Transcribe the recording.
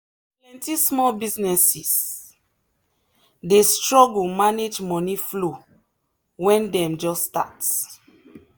plenty small businesses dey struggle manage money flow when dem just start.